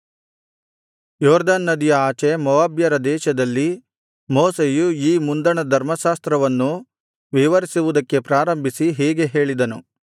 ಯೊರ್ದನ್ ನದಿಯ ಆಚೆ ಮೋವಾಬ್ಯರ ದೇಶದಲ್ಲಿ ಮೋಶೆಯು ಈ ಮುಂದಣ ಧರ್ಮಶಾಸ್ತ್ರವನ್ನು ವಿವರಿಸುವುದಕ್ಕೆ ಪ್ರಾರಂಭಿಸಿ ಹೀಗೆ ಹೇಳಿದನು